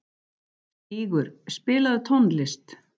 Stígur, spilaðu tónlist.